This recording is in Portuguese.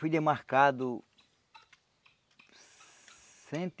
Fui demarcado cento e